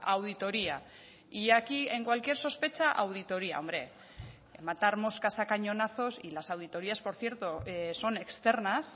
auditoría y aquí en cualquier sospecha auditoría hombre matar moscas a cañonazos y las auditorías por cierto son externas